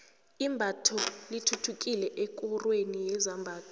imbatho lithuthukile ekorweni yezamabhizinisi